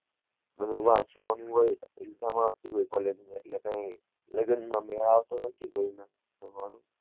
બધું વાંચવાનું હોય exam આવતી હોય college ની એટલે કઈ લગન માં મેંલ આવતો નહિ કોઈ ના